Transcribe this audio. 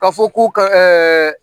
Ka fɔ k'u ka